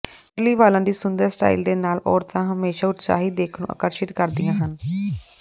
ਕਰਲੀ ਵਾਲਾਂ ਦੀ ਸੁੰਦਰ ਸਟਾਈਲ ਦੇ ਨਾਲ ਔਰਤਾਂ ਹਮੇਸ਼ਾਂ ਉਤਸ਼ਾਹੀ ਦਿੱਖ ਨੂੰ ਆਕਰਸ਼ਿਤ ਕਰਦੀਆਂ ਹਨ